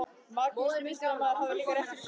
Magnús miðstjórnarmaður hafði líka rétt fyrir sér.